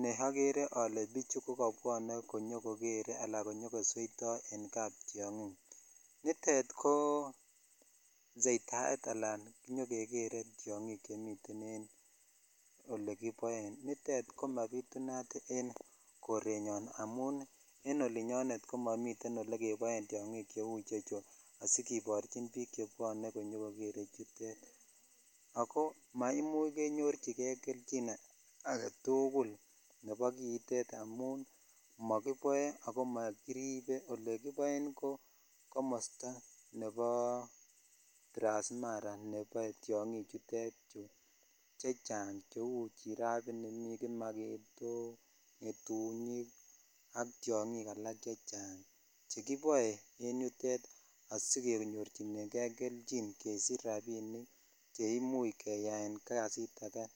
ne okere olee bichu kokobwone konyokokere anan nyokosweito en kaptiongin, nitet ko soitaret alaan inyokekere tiong'ik chemiten en yuu olekiboen, nitet komabitunat en korenyon amun en olinyon komomiten elekeboen tiong'ik cheuu ichechu asikiborchin biik chebwone konyokokere chutet, ko maimuch kenyorchike kelchin aketukul nebo kiitet amun mokiboe ako mokiribe, olekiboen komosto nebo Transmara neboe tiong'i chutet chuu chechang cheuu giraffe inii, mii kimaketok, ngetunyik ak tiong'ik alak chechang chekiboe en yutet asikenyorchinengen melchin asikeyaen kasit akee.